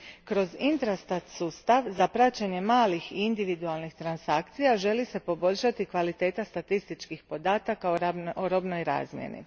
Kroz Intrastat sustav za praćenje malih i individualnih transakcija želi se poboljšati kvaliteta statističkih podataka o robnoj razmjeni.